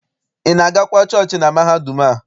Ị na-agakwa chọọchị na mahadum a?